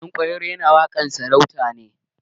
Ɗanƙwairo yana waƙe sarakai ne.